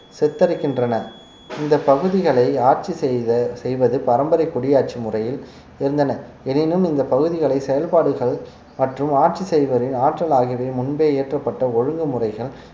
சித்தரிக்கின்றன இந்த பகுதிகளை ஆட்சி செய்த செய்வது பரம்பரை குடியாட்சி முறையில் இருந்தன எனினும் இந்த பகுதிகளின் செயல்பாடுகள் மற்றும் ஆட்சி செய்பவரின் ஆற்றல் ஆகியவை முன்பே இயற்றப்பட்ட ஒழுங்கு முறைகள்